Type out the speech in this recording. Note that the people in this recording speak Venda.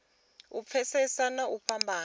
u pfesesa na u fhambanya